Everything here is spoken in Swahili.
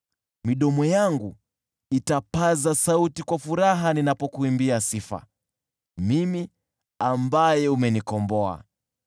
Midomo yangu itapaza sauti kwa furaha ninapokuimbia sifa, mimi, ambaye umenikomboa.